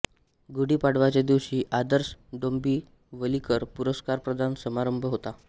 गुढी पाडवाच्याच दिवशी आदर्श डोंबिवलीकर पुरस्कारप्रदान समरांभ होतो